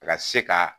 Ka se ka